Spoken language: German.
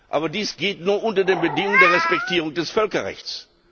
Aber dies geht nur unter den Bedingungen der Respektierung des Völkerrechts.